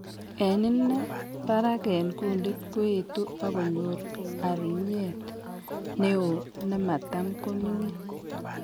En inei, barak en kundit koetu akonyor arunyet neo nematam koming'in